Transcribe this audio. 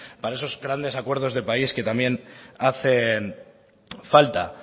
para esos grandes acuerdos de país que también hacen falta